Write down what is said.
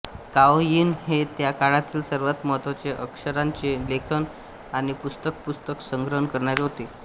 काओ Yin हे त्या काळातील सर्वात महत्त्वाचे अक्षरांचे लेखक आणि पुस्तक पुस्तक संग्रहण करणारे होते